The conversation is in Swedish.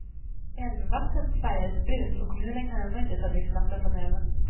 Älvvattnet färgades brunt och kommunen kan ännu inte ta dricksvatten från älven.